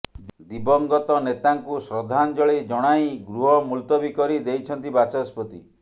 ଦିବଙ୍ଗତ ନେତାଙ୍କୁ ଶ୍ରଦ୍ଧାଞ୍ଜଳି ଜଣାଇ ଗୃହ ମୁଲତବୀ କରି ଦେଇଛନ୍ତି ବାଚସ୍ପତି